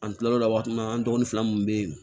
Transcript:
An kila l'o la waati min na an dɔgɔnin fila mun bɛ yen